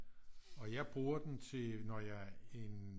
Og jeg bruger den til når jeg en